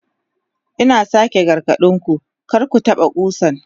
Ina sake gargade ku, kar ku taɓa ƙusan!